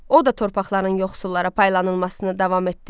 O da torpaqların yoxsullara paylanılmasını davam etdirdi.